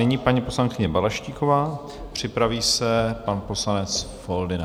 Nyní paní poslankyně Balaštíková, připraví se pan poslanec Foldyna.